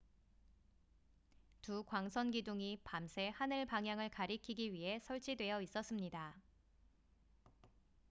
두 광선 기둥이 밤새 하늘 방향을 가리키기 위해 설치되어 있었습니다